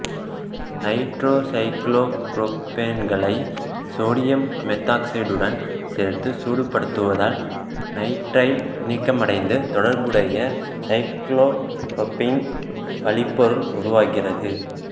நைட்ரோசைக்ளோபுரோப்பேன்களை sodium மெத்தாக்சைடுடன் சேர்த்து சூடுபடுத்துவதால் நைட்ரைல் நீக்கமடைந்து தொடர்புடைய சைக்ளோபுரோப்பீன் வழிப்பொருள் உருவாகிறது